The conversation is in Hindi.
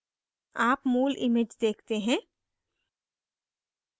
आप मूल image देखते हैं